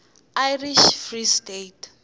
irish free state